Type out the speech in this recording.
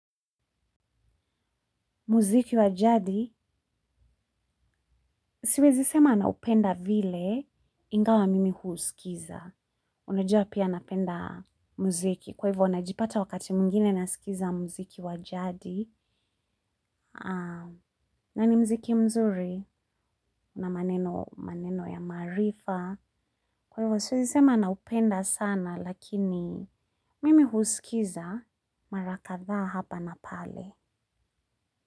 Muziki wa jadi siwezi sema naupenda vile ingawa mimi husikiza. Unajua pia napenda muziki kwa hivyo unajipata wakati mwingine nasikiza muziki wa jadi. Na ni mziki mzuri na maneno ya marifa. Kwa hivyo siwezi sema naupenda sana lakini mimi husikiza mara kadhaa hapa na pale.